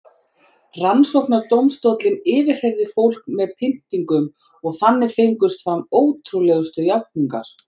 Rannsóknardómstóllinn yfirheyrði fólk með pyntingum og þannig fengust fram ótrúlegustu játningar.